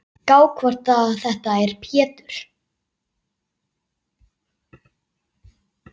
Gá hvort þetta er Pétur.